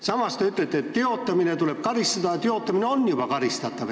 Samas te ütlete, et teotamise eest tuleb karistada, ehkki see on juba karistatav.